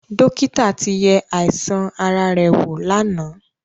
Dọ́kítà ti yẹ àìsàn ara rẹ̀ wò lánàá.